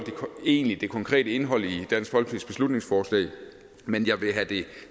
egentlig det konkrete indhold i dansk folkepartis beslutningsforslag men jeg vil have det